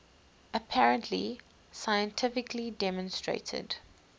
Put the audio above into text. apparently scientifically demonstrated